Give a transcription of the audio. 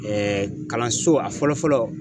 kalanso ,a fɔlɔ fɔlɔ